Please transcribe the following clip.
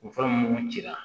O fura minnu cira